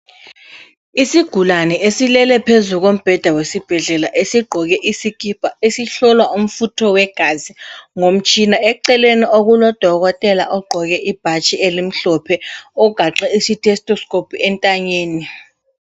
Isigulane esilele phezu kombheda esibhedlela esigqoke isikipa esihlolwa umfutho wegazi ngomtshina. Eceleni okuloDokotela ogqoke ibhatshi elimhlophe ogaxe isitestoscope entanyeni.